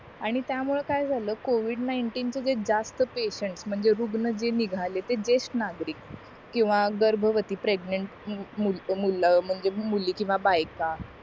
आणि त्या मुळे काय झालं covid नाईंटीन च जे जास्त पेशंट म्हणजे रुग्ण जे निघाले ते जेष्ठ नागरिक किंवा गर्भवती प्रेगनेंट मुली किव्हा बाई